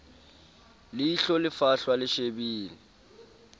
leihlo le fahlwa le shebile